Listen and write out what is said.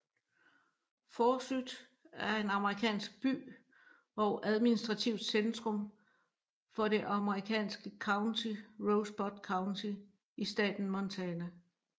Forsyth er en amerikansk by og administrativt centrum for det amerikanske county Rosebud County i staten Montana